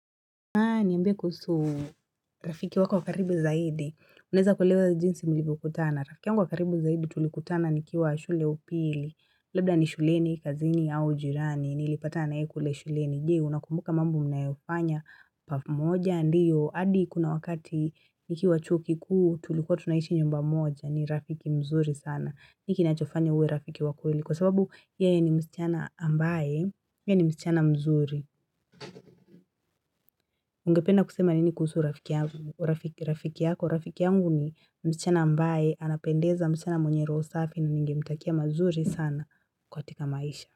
Naani ambia kuhusu rafiki wako wa karibu zaidi, unaweza kueleza jinsi mlivyo kutana, rafiki yangu wa karibu zaidi tulikutana nikiwa shule upili, labda ni shuleni, kazini au jirani, nilipatana naye kule shuleni, je unakumbuka mambo mnayofanya pamoja ndio, hadi kuna wakati nikiwa chuo kikuu tulikuwa tunaishi nyumba moja, ni rafiki mzuri sana, nini kinachofanya uwe rafiki wa kweli, kwa sababu yeye ni msichana ambaye, yeye ni msichana mzuri, Ungependa kusema nini kuhusu rafiki yako, rafiki yangu ni msichana ambae, anapendeza msichana mwenye roho safi ningemtakia mazuri sana katika maisha.